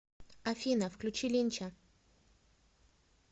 афина включи линча